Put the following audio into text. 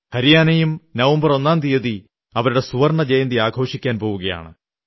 ഹരിയാനയും November ഒന്നാം തീയതി അവരുടെ സുവർണ്ണ ജയന്തി ആഘോഷിക്കുവാൻ പോകയാണ്